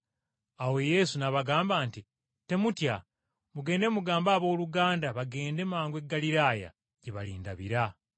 Awo Yesu n’abagamba nti, “Temutya, mugende mugambe abooluganda bagende mangu e Ggaliraaya, gye balindabira.”